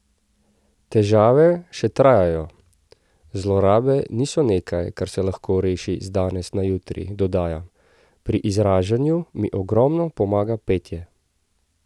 Težave še trajajo, zlorabe niso nekaj, kar se lahko reši z danes na jutri, dodaja: "Pri izražanju mi ogromno pomaga petje.